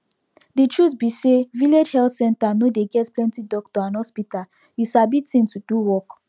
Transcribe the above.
de truth be say village health center no dey get plenti doctor and hospital you sabi thing to do work